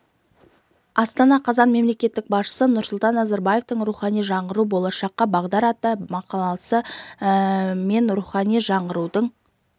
астана қазан мемлекет басшысы нұрсұлтан назарбаевтың рухани жаңғыру болашаққа бағдар атты мақаласы мен рухани жаңғырудың